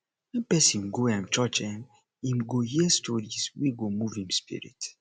wen pesin go um church um im go hear stories wey go move im spirit